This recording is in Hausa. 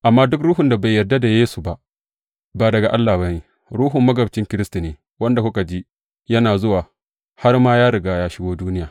Amma duk ruhun da bai yarda da Yesu ba, ba daga Allah ba ne, ruhun magabcin Kiristi ne, wanda kuka ji yana zuwa, har ma ya riga ya shigo duniya.